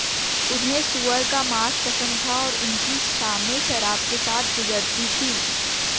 उन्हें सुअर का मांस पसंद था और उनकी शामें शराब के साथ गुजरती थीं